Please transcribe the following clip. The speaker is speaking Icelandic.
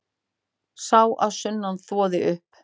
Sá að sunnan þvoði upp.